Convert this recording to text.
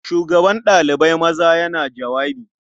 Shugaban ɗalibai maza yana jawabi.